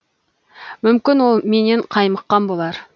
мүмкін ол менен қаймыққан болар